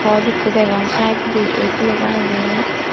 code ekko degong sidoindi eight lega agey.